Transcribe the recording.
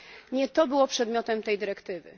Nie to było przedmiotem tej dyrektywy.